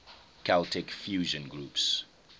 celtic fusion groups